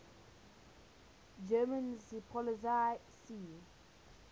german seepolizei sea